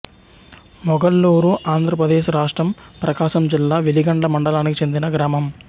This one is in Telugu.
మొగల్లూరుఆంధ్రప్రదేశ్ రాష్ట్రం ప్రకాశం జిల్లా వెలిగండ్ల మండలానికి చెందిన గ్రామం